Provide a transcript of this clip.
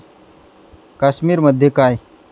काश्मीरमध्ये काय.